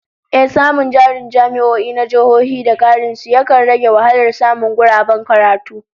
Ehh, samun jarin jami'o'i na jihohi da karin su, yakan rage wahalar samun guraben karatu